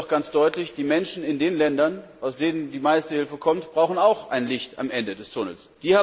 Ich sage das aber auch ganz deutlich Die Menschen in den Ländern, aus denen die meiste Hilfe kommt, brauchen auch ein Licht am Ende des Tunnels.